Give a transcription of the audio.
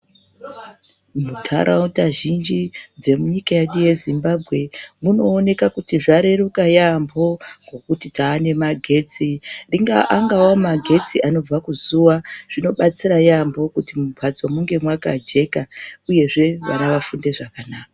Muntaraunda zhinji dzemunyika yedu yeZimbabwe munooneka kuti zvareruka yaamho ngokuti tane magetsi angava magetsi anobve kuzuwa zvinobatsira yaamho kuti mumbatso munge makajeka uyezve vana vafunde zvakanaka.